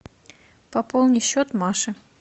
пополни счет маши